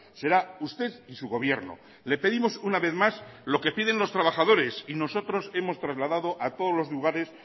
será usted y su gobierno le pedimos una vez más lo que piden los trabajadores y nosotros hemos trasladado a todos los lugares